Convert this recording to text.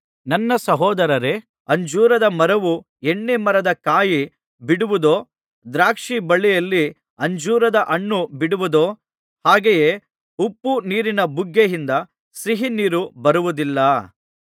ನನ್ನ ಸಹೋದರರೇ ಅಂಜೂರದ ಮರವು ಎಣ್ಣೆ ಮರದ ಕಾಯಿ ಬಿಡುವುದೋ ದ್ರಾಕ್ಷಿ ಬಳ್ಳಿಯಲ್ಲಿ ಅಂಜೂರದ ಹಣ್ಣು ಬಿಡುವುದೋ ಹಾಗೆಯೇ ಉಪ್ಪುನೀರಿನ ಬುಗ್ಗೆಯಿಂದ ಸಿಹಿ ನೀರು ಬರುವುದಿಲ್ಲ